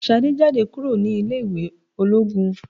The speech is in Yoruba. Ṣadé jáde kúrò ní ilé ìwé ológun.